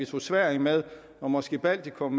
tog sverige og måske baltikum